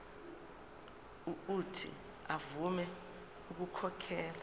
uuthi avume ukukhokhela